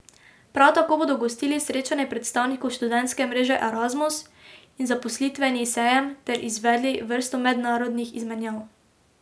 Prav tako bodo gostili srečanje predstavnikov študentske mreže Erasmus in zaposlitveni sejem ter izvedli vrsto mednarodnih izmenjav.